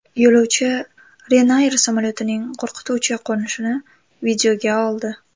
Yo‘lovchi Ryanair samolyotining qo‘rqituvchi qo‘nishini videoga oldi.